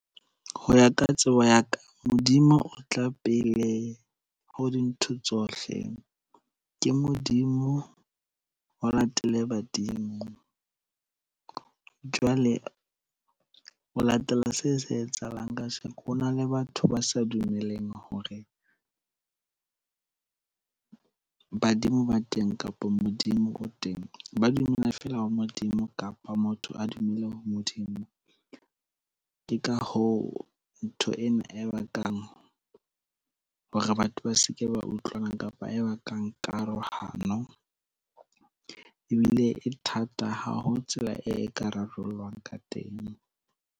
Ho ya ka tsebo ya ka, Modimo o tla pele ho dintho tsohle. Ke Modimo, ho latele badimo. Jwale ho latela seo se etsahalang kasheko, ho na le batho ba sa dumelleng hore badimo ba teng kapa Modimo o teng. Ba dumela feela ho Modimo kapa motho a dumele ho Modimo. Ke ka hoo ntho ena e bakang hore batho ba seke ba utlwana, kapa e bakang karohano. Ebile e thata, ha ho tsela e ka rarollwa ka teng.